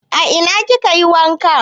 A ina ki kayi wanka?